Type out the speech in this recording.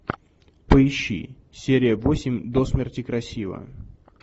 поищи серия восемь до смерти красива